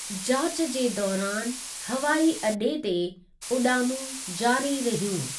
जाचु जे दौरान हवाई अड्डे॒ ते उडा॒मूं जारी रहियूं।